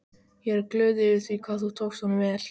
Ég er glöð yfir því hvað þú tókst honum vel.